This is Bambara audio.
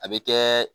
A bɛ kɛ